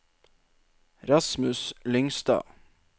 Rasmus Lyngstad